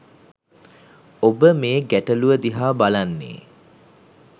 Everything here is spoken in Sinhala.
ඔබ මේ ගැටලුව දිහා බලන්නේ